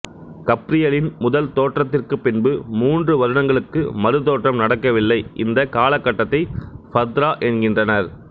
கப்ரியலின் முதல் தோற்றத்திற்கு பின்பு மூன்று வருடங்களுக்கு மறுதோற்றம் நடக்கவில்லை இந்த காலகட்டத்தை ஃபத்ரா என்கின்றனர்